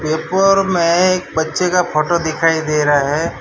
Paper में एक बच्चे का फोटो दिखाई दे रहा है।